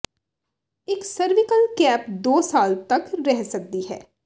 ਇੱਕ cervical cap ਦੋ ਸਾਲ ਤੱਕ ਰਹਿ ਸਕਦੀ ਹੈ